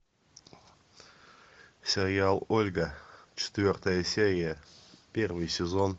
сериал ольга четвертая серия первый сезон